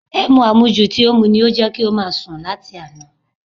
Ẹmu àmujù tí ó mú ni ó jẹ́ kí ó máa sùn ni àti àná